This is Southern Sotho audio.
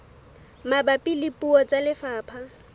mabapi le puo tsa lefapha